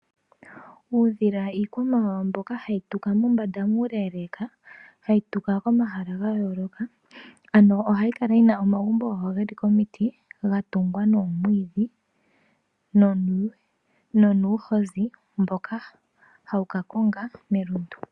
Uudhila iikwamawawa mbyoka hayi tuka mombanda muuleeleka, hayi tuka komahala gayooloka. Ano ohayi kala yina omagumbo gawo geli komiti ga tungwa noomwiidhi no nuuhozi mboka hawu ka konga melundu.